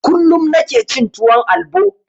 Kullum nike cin tuwon albo